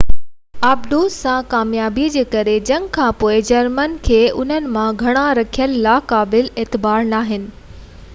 آبدوز سان ڪاميابي جي ڪري جنگ کان پوءِ جرمنن کي انهن مان گھڻا رکڻ لاءِ قابلِ اعتبار ناهن